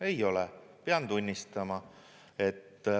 Ei ole, pean tunnistama.